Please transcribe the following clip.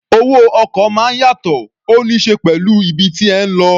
Owó ọkọ̀ máa ń yàtọ̀, ó ní ṣe pẹ̀lú ibi tí ẹ̀ ń lọ.